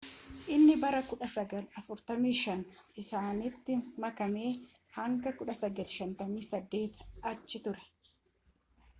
inni bara 1945 isaanitti makamee hanga 1958 achi ture